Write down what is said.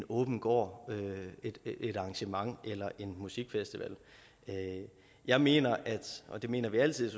åben gård arrangement eller en musikfestival jeg mener og det mener vi altid